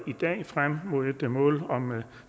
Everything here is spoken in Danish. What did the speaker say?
i dag frem mod et mål om